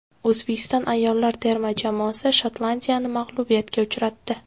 O‘zbekiston ayollar terma jamoasi Shotlandiyani mag‘lubiyatga uchratdi.